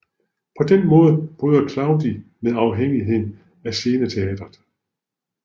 På den måde bryder Claudi med afhængigheden af sceneteatret